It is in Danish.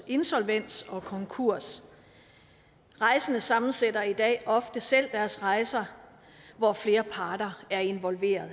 insolvens og konkurs rejsende sammensætter i dag ofte selv deres rejser hvor flere parter er involveret